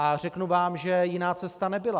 A řeknu vám, že jiná cesta nebyla.